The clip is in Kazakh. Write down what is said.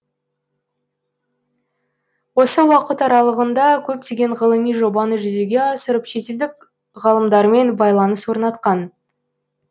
осы уақыт аралағында көптеген ғылыми жобаны жүзеге асырып шетелдік ғалымдармен байланыс орнатқан